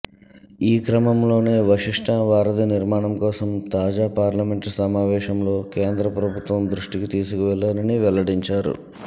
ఈ క్రమంలోనే వశిష్ట వారధి నిర్మాణం కోసం తాజా పార్లమెంట్ సమావేశంలో కేంద్ర ప్రభుత్వం దృష్టికి తీసుకువెళ్లానని వెల్లడించారు